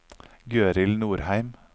Gøril Nordheim